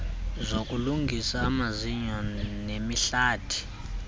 zokulungisa amazinyo nemihlathi